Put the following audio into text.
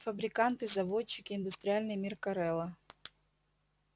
фабриканты заводчики индустриальный мир корела